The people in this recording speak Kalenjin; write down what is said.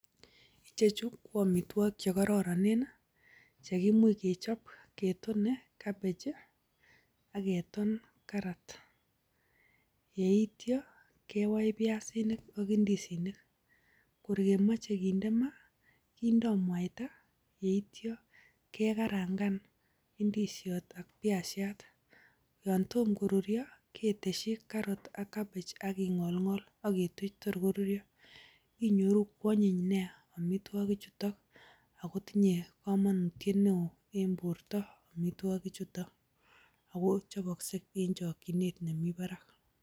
Ichej ko amitwogik che kororon ch eimuch kechob ketone cabbage ak keton carrot. Yeityo kewai biasinik ok indisinik. Kor kemoche kinde maa kindo mwaita ye ityo kekarangan indisiot ak biasiat. Yon tom koruryo keteshi cabbage ak carrot ak king'olng'ol ak ketuch tor koruryo. Inyoru koanyiny nyaa amitwogichuton agotinye komonutiet neo en borto amitwogichuto ago chobokse en chokchinet nemi barak.